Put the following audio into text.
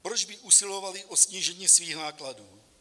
Proč by usilovaly o snížení svých nákladů?